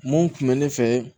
Mun kun bɛ ne fɛ